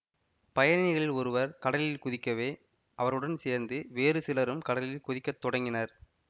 பயணிகளில் ஒருவர் கடலில் குதிக்கவே அவருடன் சேர்ந்து வேறு சிலரும் கடலில் குதிக்கத் தொடங்கினர்